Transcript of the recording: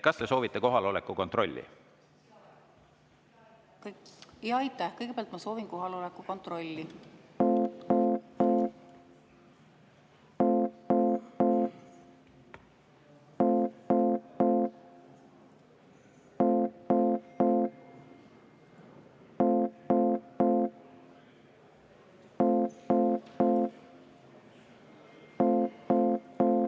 Kas te soovite kohaloleku kontrolli?